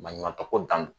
Maɲuman tɔ ko dan